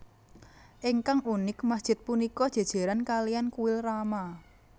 Ingkang unik masjid punika jéjéran kaliyan kuil rama